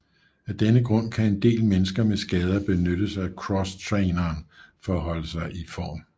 Af denne grund kan en del mennesker med skader benytte sig af crosstraineren for at holde sig i form